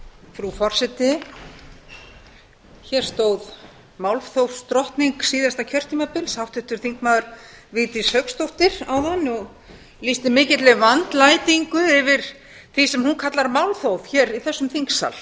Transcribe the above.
frú forseti hér stóð málþófsdrottning síðasta kjörtímabils háttvirtur þingmaður vigdís hauksdóttir áðan og lýsti mikilli vandlætingu yfir því sem hún kallar málþóf hér í þessum þingsal